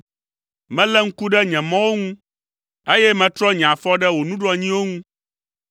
Melé ŋku ɖe nye mɔwo ŋu, eye metrɔ nye afɔ ɖe wò nuɖoanyiwo ŋu.